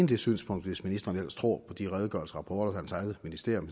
det synspunkt hvis ministeren ellers tror på de redegørelser og rapporter hans eget ministerium